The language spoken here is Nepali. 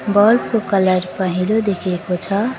बल्ब को कलर पहेँलो देखिएको छ।